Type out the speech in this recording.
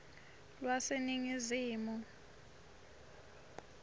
lwaseningizimu